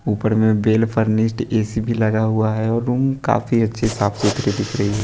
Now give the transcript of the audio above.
ऊपर में well furnished AC भी लगा हुआ है और रूम काफी अच्छे साफ सुथरे दिख रही है।